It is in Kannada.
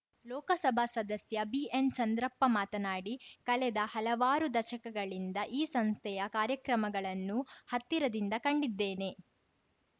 ಲೋಕಸಭಾ ಸದಸ್ಯ ಬಿಎನ್‌ ಚಂದ್ರಪ್ಪ ಮಾತನಾಡಿ ಕಳೆದ ಹಲವಾರು ದಶಕಗಳಿಂದ ಈ ಸಂಸ್ಥೆಯ ಕಾರ್ಯಕ್ರಮಗಳನ್ನು ಹತ್ತಿರದಿಂದ ಕಂಡಿದ್ದೇನೆ